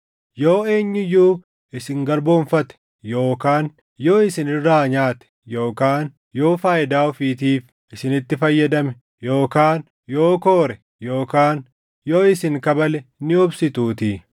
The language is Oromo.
Yoo eenyu iyyuu isin garboomfate yookaan yoo isin irraa nyaate yookaan yoo faayidaa ofiitiif isinitti fayyadame yookaan yoo koore yookaan yoo isin kabale ni obsituutii.